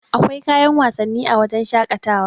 akwai kayan wasanni a wajen shaƙatawa